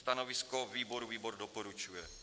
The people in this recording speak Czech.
Stanovisko výboru: výbor doporučuje.